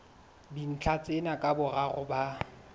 dintlha tsena ka boraro ba